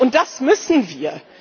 Und das müssen wir!